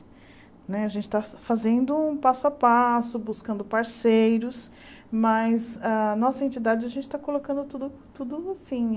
Né a gente está fazendo um passo a passo, buscando parceiros, mas a nossa entidade a gente está colocando tudo tudo assim eh.